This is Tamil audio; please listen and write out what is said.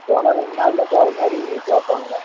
போனா ரெண்டு நாளில தான் போற மாதிரி கேப்பாங்க